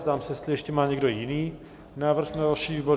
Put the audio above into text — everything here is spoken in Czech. Ptám se, jestli ještě má někdo jiný návrh na další výbor?